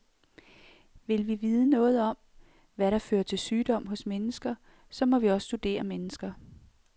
Vil vi vide noget om, hvad der fører til sygdom hos mennesker, så må vi også studere mennesker.